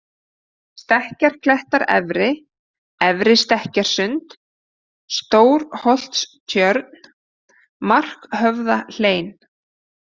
Stekkjarklettar- efri, Efra-Stekkjarsund, Stórholtstjörn, Markhöfðahlein